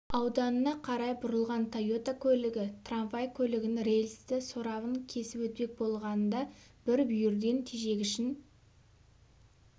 ауданына қарай бұрылған тойота көлігі трамвай көлігінің рельсті сорабын кесіп өтпек болғанында бір бүйірден тежегішін